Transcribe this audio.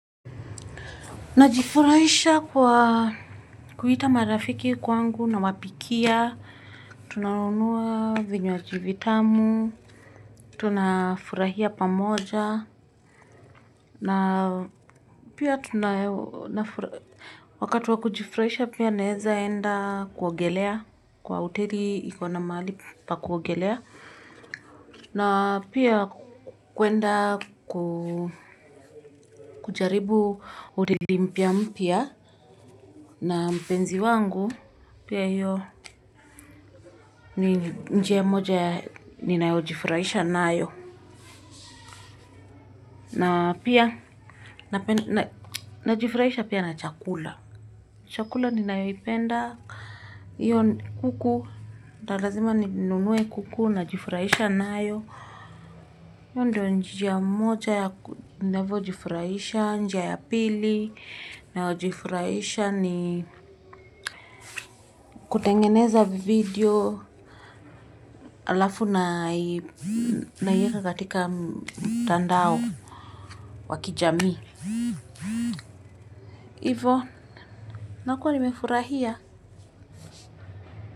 Najifurahisha kwa kuita marafiki kwangu na wapikia, tunanunuwa vinywaji vitamu, tunafurahia pamoja na pia tunafurahia. Wakatu wa kujifurahisha pia naezaenda kuogelea kwa uteri ikona mahali pa kuogelea na pia kuenda kujaribu uteri mpia mpya. Na mpenzi wangu, pia yyo njia moja, ninao jifurahisha nayo. Na pia, na jifurahisha pia na chakula. Chakula ninayoipenda iyo kuku, anlazima nunue kuku, na jifurahisha naayo. Yyo ndio njia moja, navo jifurahisha, njia ya pili. Nayojifurahisha ni kutengeneza video alafu naieka katika tandao wakijami. Ivo nakuwa nimefurahia.